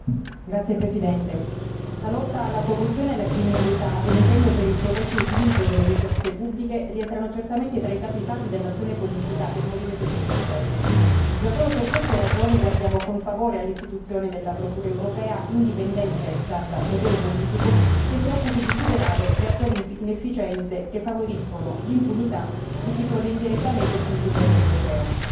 Signora Presidente, onorevoli colleghi, la lotta alla corruzione e alla criminalità e l'impegno per il corretto utilizzo delle risorse pubbliche rientrano certamente tra i capisaldi dell'azione politica del Movimento 5 Stelle. Già solo per queste ragioni guardiamo con favore all'istituzione di una Procura europea indipendente dal potere politico, che si occupi di superare le attuali inefficienze che favoriscono l'impunità di chi froda indirettamente il contribuente europeo.